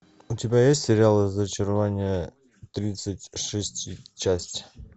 у тебя есть сериал разочарование тридцать шесть часть